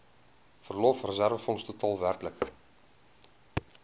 verlofreserwefonds totaal werklik